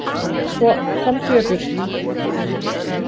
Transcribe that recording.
Svo, komdu þér burt.